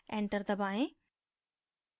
enter दबाएँ